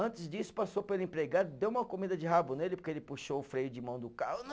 Antes disso, passou pelo empregado, deu uma comida de rabo nele, porque ele puxou o freio de mão do carro.